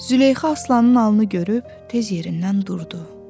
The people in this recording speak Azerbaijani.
Züleyxa Aslanın alnı görüb tez yerindən durdu.